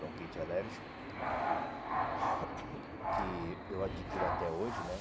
Bronquite alérgico, que eu adquiro até hoje, né?